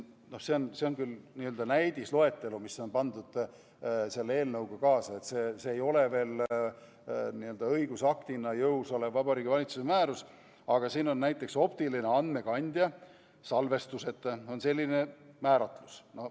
No see on küll n-ö näidisloetelu, mis on pandud selle eelnõuga kaasa, see ei ole veel õigusaktina jõus olev Vabariigi Valitsuse määrus, aga siin on näiteks "optiline andmekandja – salvestuseta", ongi selline määratlus.